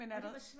Men er der